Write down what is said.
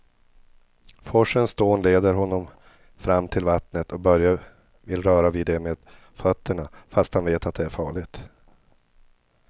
Forsens dån leder honom fram till vattnet och Börje vill röra vid det med fötterna, fast han vet att det är farligt.